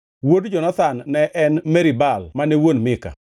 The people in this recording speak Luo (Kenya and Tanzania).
Wuod Jonathan ne en: Merib-Baal mane wuon Mika.